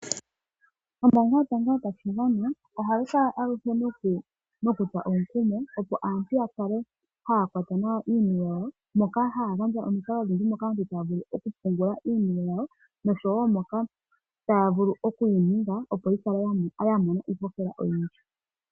Moka haya longwa omikalo odhindji okumona iihohela oyindji